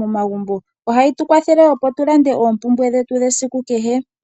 momagumbo ohayi tu kwathele tulande oompumbwe dhetu dhasiku kehe.